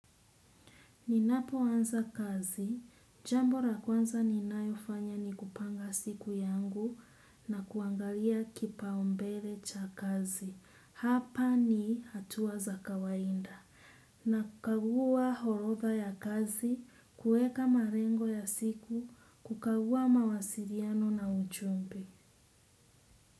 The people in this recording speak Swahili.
Ninapoanza kazi, jambo la kwanza ninalofanya ni kupanga siku yangu na kuangalia kipaombele cha kazi. Hapa ni hatua za kawaida. Na kukagua horodha ya kazi, kueka malengo ya siku, kukagua mawasiliano na ujumbe.